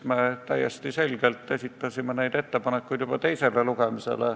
Me esitasime neid ettepanekuid juba enne teist lugemist.